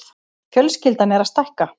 Fjölskyldan er að stækka.